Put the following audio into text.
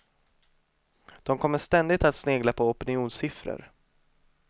De kommer ständigt att snegla på opinionssiffror.